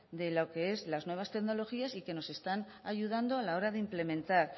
de lo qué es la nuevas tecnologías y que nos están ayudando a la hora de implementar